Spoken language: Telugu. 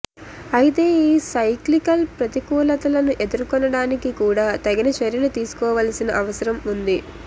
అయితే ఈ సైక్లికల్ ప్రతికూలతలను ఎదుర్కొనడానికి కూడా తగిన చర్యలు తీసుకోవాల్సిన అవసరం ఉంది